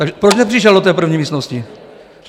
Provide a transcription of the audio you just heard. Takže proč nepřišel do té první místnosti?